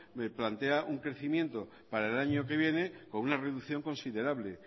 plantea un crecimiento para el año que viene con una reducción considerable